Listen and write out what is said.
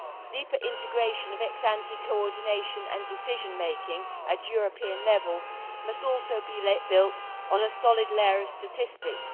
Deeper integration of ex ante coordination and decision making at European level must also be built on a solid layer of statistics.